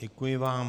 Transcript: Děkuji vám.